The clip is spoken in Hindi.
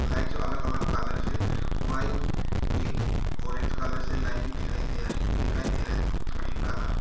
लाइट जो अलग अलग कलर्स है व्हाइट पिंक ऑरेंज कलर से लाइट भी दिखाई दिया है दिखाई दे रहा है ग्रीन कलर --